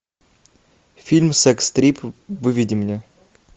фильм секс трип выведи мне